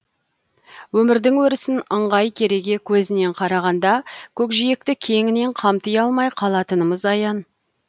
өмірдің өрісін ыңғай кереге көзінен қарағанда көкжиекті кеңінен қамти алмай қалатынымыз аян